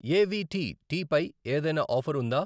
AVT tea పై ఏదైనా offer ఉందా?